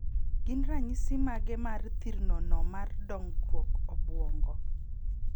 Gin ranyisi mage mar thirno no mar dongruok obuongo.?